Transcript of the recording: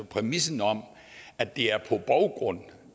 præmissen om at det er på baggrund